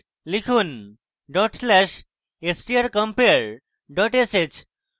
লিখুন dot slash strcompare dot sh